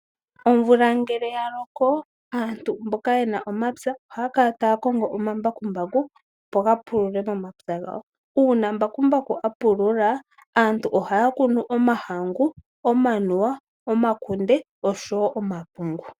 Omvula ngele yaloko aantu mboka yena omapya ohaya kala taakongo omambakumbaku opo gapulule momapya gawo. Uuna mbakumbaku apulula aantu ohaya kunu omahangu, omanuwa, omakunde osho wo omapungu.